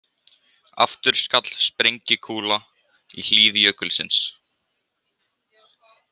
Aftur skall sprengikúla í hlíð jökulsins.